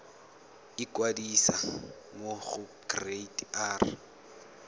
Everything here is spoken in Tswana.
ikwadisa mo go kereite r